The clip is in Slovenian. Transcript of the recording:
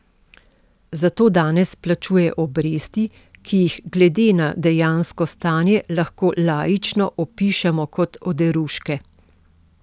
Za to danes plačuje obresti, ki jih glede na dejansko stanje lahko laično opišemo kot oderuške.